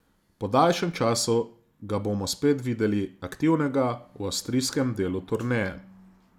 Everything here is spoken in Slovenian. Po daljšem času ga bomo spet videli aktivnega v avstrijskem delu turneje.